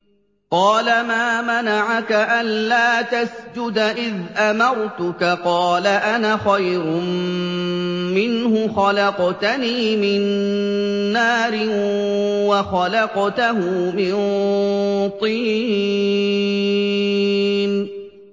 قَالَ مَا مَنَعَكَ أَلَّا تَسْجُدَ إِذْ أَمَرْتُكَ ۖ قَالَ أَنَا خَيْرٌ مِّنْهُ خَلَقْتَنِي مِن نَّارٍ وَخَلَقْتَهُ مِن طِينٍ